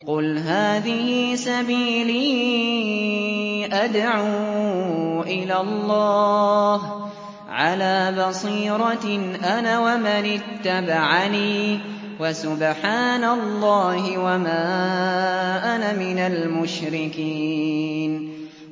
قُلْ هَٰذِهِ سَبِيلِي أَدْعُو إِلَى اللَّهِ ۚ عَلَىٰ بَصِيرَةٍ أَنَا وَمَنِ اتَّبَعَنِي ۖ وَسُبْحَانَ اللَّهِ وَمَا أَنَا مِنَ الْمُشْرِكِينَ